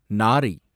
நாரை